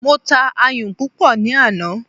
Mo ta ayùn púpọ̀ ní àná.